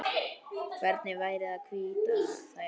Hvernig væri að hvítta þær?